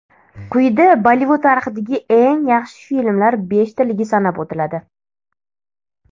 Quyida Bollivud tarixidagi eng yaxshi filmlar beshtaligi sanab o‘tiladi.